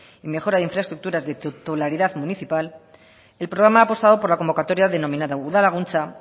y mejora de infraestructuras de titularidad municipal el programa ha apostado por la convocatoria denominada udal laguntza